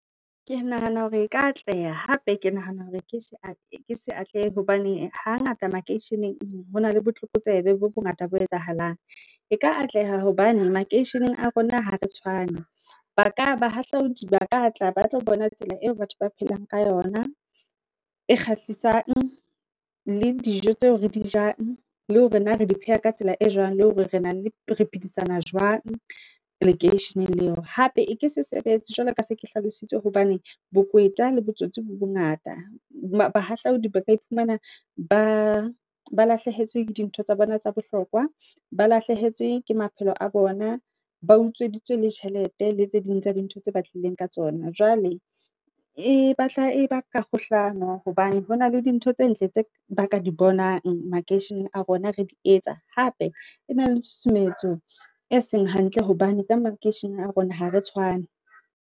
Ke nahana hore e ka atleha, hape ke nahana hore ke se ke sa atleha hobane hangata makeisheneng, ho na le botlokotsebe bo bongata bo etsahalang, e ka atleha hobane makeisheneng a rona, ha re tshwane, ba ka ba hahlaodi ba ka tla ba tlo bona. Tsela eo batho ba phelang ka yona, e kgahlisang, le dijo tseo re di jang, le hore na re di pheha ka tsela e jwang, le hore re na le re phidisana jwang, lekeisheneng leo. Hape eke se sebetse, jwalo ka se ke hlalositse hobane bokweta le botsotsi bo bongata, ba bahahlaodi ka iphumana ba ba lahlehetswe ke dintho tsa bona tsa bohlokwa, ba lahlehetswe ke maphelo, a bona, ba utsweditswe le tjhelete le tse ding tsa dintho tse batlileng ka tsona, Jwale e batla e ba ka ho hlano hobane hona le dintho tse ntle tse ba ka di bonang makeisheneng a rona, re di etsa, hape e na le tshutsumetso e seng hantle, hobane ka makeisheneng a rona ha re tshwane.